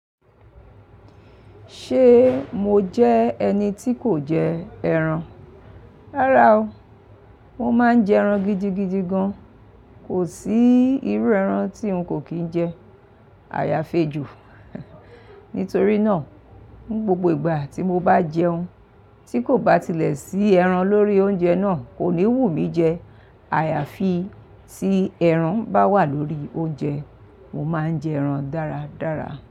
Ṣe mo jẹ ẹni ti kò jẹ ẹran? Rárá o, mo máa ń jẹ ẹran gidigidi gan. Kò sí irú ẹran tí n kò kí ń jẹ. Àyàfi ejo. Nítorí náà, gbogbo ìgbà tí mo bá jẹun, tí kò bá tilẹ̀ sí ẹran lórí oúnjẹ náà, kò ní wù mí jẹ. Àyàfi tí ẹran bá wà lórí oúnjẹ, mo máa ń jẹ ẹran dáradára.